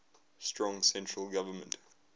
strong central government